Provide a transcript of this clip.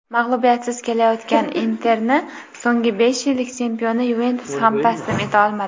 Mag‘lubiyatsiz kelayotgan "Inter"ni so‘nggi besh yillik chempioni "Yuventus" ham taslim eta olmadi.